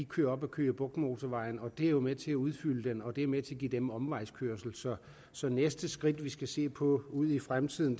kører op ad køge bugt motorvejen og det er jo med til at udfylde den og det er med til at give dem omvejskørsel så næste skridt vi skal se på ude i fremtiden